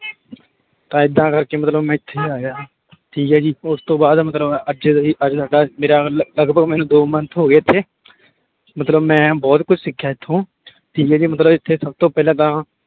ਤਾਂ ਏਦਾਂ ਕਰਕੇ ਮਤਲਬ ਮੈਂ ਇੱਥੇ ਆਇਆ ਠੀਕ ਹੈ ਜੀ ਉਸਤੋਂ ਬਾਅਦ ਮਤਲਬ ਅੱਜ ਸਾਡਾ ਮੇਰਾ ਮਤਲਬ ਲਗਪਗ ਮੈਨੂੰ ਦੋ month ਹੋ ਗਏ ਇੱਥੇ ਮਤਲਬ ਮੈਂ ਬਹੁਤ ਕੁਛ ਸਿੱਖਿਆ ਇੱਥੋਂ ਠੀਕ ਹੈ ਜੀ ਮਤਲਬ ਇੱਥੇ ਸਭ ਤੋਂ ਪਹਿਲਾਂ ਤਾਂ